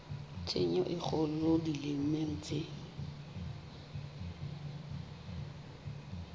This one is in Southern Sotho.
tshenyo e kgolo dimeleng tse